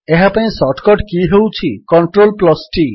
ଏହାପାଇଁ shortcut key ହେଉଛି CTRLT